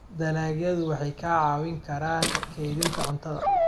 Dalagyadu waxay kaa caawin karaan kaydinta cuntada.